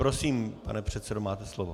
Prosím, pane předsedo, máte slovo.